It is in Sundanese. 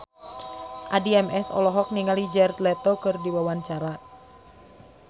Addie MS olohok ningali Jared Leto keur diwawancara